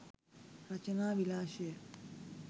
රචනා විලාශය